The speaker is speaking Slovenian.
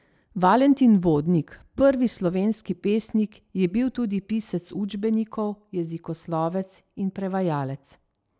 Valentin Vodnik, prvi slovenski pesnik, je bil tudi pisec učbenikov, jezikoslovec in prevajalec.